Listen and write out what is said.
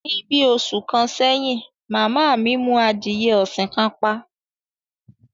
Ní bí òṣù kan sèyìn, màmá mi mú àdíyè òṣìn kan pà